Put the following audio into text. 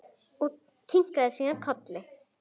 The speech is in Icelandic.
Kinkaði síðan kolli.